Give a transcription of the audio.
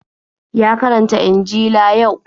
Ya karanta injila yau.